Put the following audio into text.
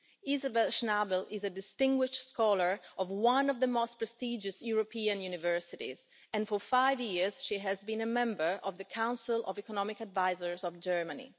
Isabel Schnabel is a distinguished scholar of one of the most prestigious European universities and for five years she has been a member of the Council of Economic Advisers of Germany.